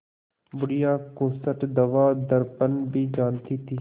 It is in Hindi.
बुढ़िया खूसट दवादरपन भी जानती थी